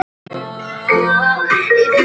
Það er kalt.